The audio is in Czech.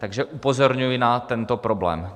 Takže upozorňuji na tento problém.